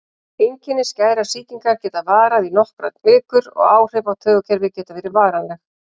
Einkenni skæðrar sýkingar geta varað í nokkrar vikur og áhrif á taugakerfið geta verið varanleg.